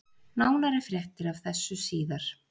Nánari fréttir af þessu síðar.